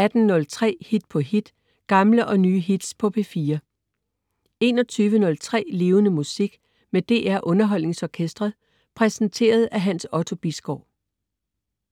18.03 Hit på hit. Gamle og nye hits på P4 21.03 Levende Musik. Med DR UnderholdningsOrkestret. Præsenteret af Hans Otto Bisgaard